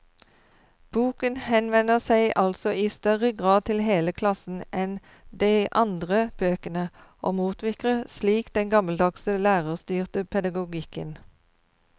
Boken henvender seg altså i større grad til hele klassen enn de andre bøkene, og motvirker slik den gammeldagse, lærerstyrte pedagogikken.